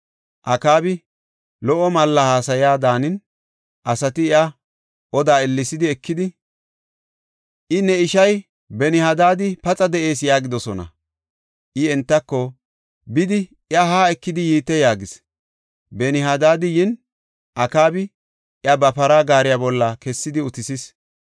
Akaabi lo77o malla haasaya daanin, asati iya odaa ellesi ekidi, “Ee, ne ishay Benihadad paxa de7ees” yaagidosona. I entako, “Bidi iya haa ekidi yiite” yaagis. Benihadad yin, Akaabi iya ba para gaariya bolla kessidi utisis.